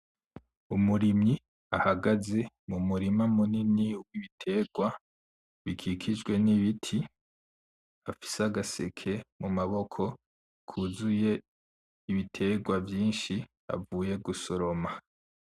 Umurimyi ahagaze mumurima munini wibiterwa, bikikjwe nibiti, afise agaseke mumaboko kuzuye ibiterwa vyinshi avuye gusoroma.